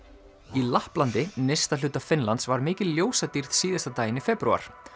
í Lapplandi nyrsta hluta Finnlands var mikil ljósadýrð síðasta daginn í febrúar